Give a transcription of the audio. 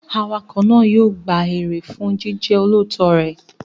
Awakọ̀ náà yóò gba èrè fún jíjẹ́ olóòótọ́ rẹ̀.